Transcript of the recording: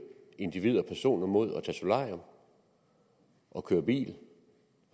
individer personer mod at tage solarium og køre bil